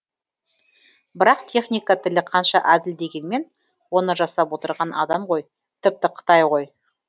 бірақ техника тілі қанша әділ дегенмен оны жасап отырған адам ғой тіпті қытай ғой